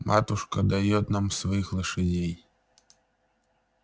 матушка даёт нам своих лошадей